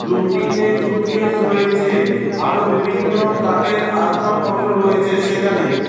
রুমটিতে সুটকেস রয়েছে আরো বিভিন্ন কাঠের আসবাবপত্র রয়েছে সেখানে।